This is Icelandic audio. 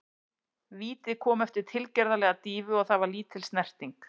Vítið kom eftir tilgerðarlega dýfu og það var lítil snerting.